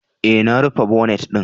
E, na rufe bonet ɗin.